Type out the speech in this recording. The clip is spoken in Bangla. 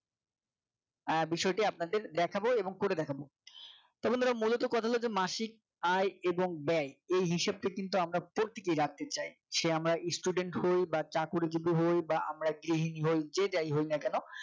আহ বিষয়টি আপনাদের দেখাবো এবং করে দেখাবো তা বন্ধুরা মূলত কথা হল মাসিক আয় এবং ব্যয় এই হিসাবটা কিন্তু আমরা প্রত্যেকে রাখতে চাই। সে আমরা student হই বা চাকুরীজীবী হই বা আমরা গৃহিনী হয় যে যাই হোক না কেন